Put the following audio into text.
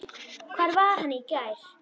Hvar var hann í gær?